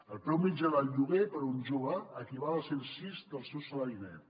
el preu mitjà del lloguer per a un jove equival a cent sis del seu salari net